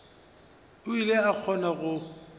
o ile a kgona go